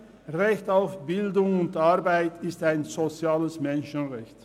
Recht auf Bildung und Arbeit ist ein soziales Menschenrecht.